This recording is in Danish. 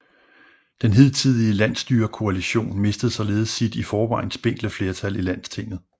Den hidtidige landsstyrekoalition mistede således sit i forvejen spinkle flertal i Landstinget